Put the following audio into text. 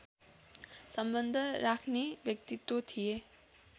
सम्बन्ध राख्ने व्यक्तित्त्व थिए